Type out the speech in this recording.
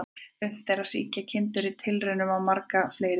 Unnt er að sýkja kindur í tilraunum á marga fleiri vegu.